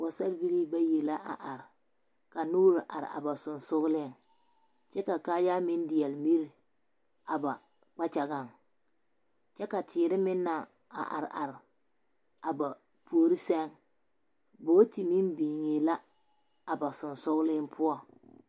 Pɔgesarebilii bayi la a are ka noore are a ba seŋsogleŋ kyɛ ka kaayaa meŋ deɛle miri a ba kpakyagaŋ kyɛ ka teere meŋ naŋ are are a ba puori sɛŋ bogti meŋ biŋee la a ba seŋsogleŋ poɔŋ.